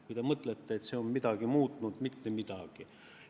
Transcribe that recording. Kui te mõtlete, et see on midagi muutnud – mitte midagi!